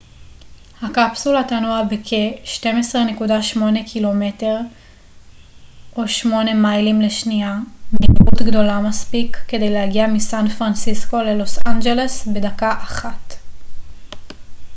הקפסולה תנוע בכ-12.8 ק מ או 8 מיילים לשנייה מהירות גדולה מספיק כדי להגיע מסן פרנסיסקו ללוס אנג'לס בדקה אחת